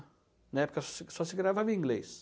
Na época só se gravava em inglês.